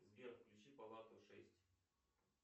сбер включи палату шесть